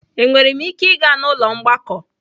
Enwere m ike ịga n'ụlọ mgbakọ?